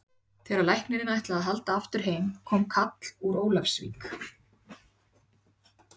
Þegar læknirinn ætlaði að halda aftur heim kom kall úr Ólafsvík.